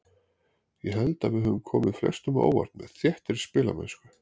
Ég held að við höfum komið flestum á óvart með þéttri spilamennsku.